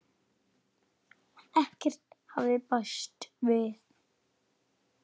Ekkert hafði bæst við.